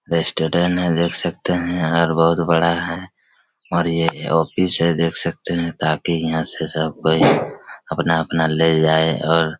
restaurant है देख सकते है और बहुत बड़ा है और ये ये एक ऑफिस है देख सकते है ताकि यहाँ से सब कोई अपना अपना ले जाए और--